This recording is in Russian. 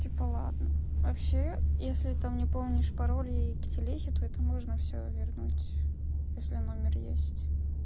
типа ладно вообще если там не помнишь пароль и к телеге то это можно всё вернуть если номер есть